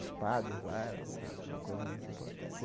Os padres lá eram era uma coisa muito importante.